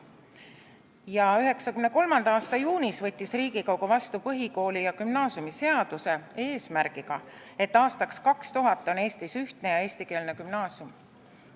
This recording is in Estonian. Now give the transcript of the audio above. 1993. aasta juunis võttis Riigikogu vastu põhikooli- ja gümnaasiumiseaduse, seda eesmärgiga, et aastaks 2000 on Eestis ühtne ja eestikeelne gümnaasium.